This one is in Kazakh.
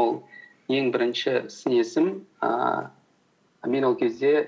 ол ең бірінші сын есім ііі мен ол кезде і